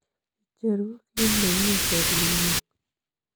Icheru kit nemi serung'ung'.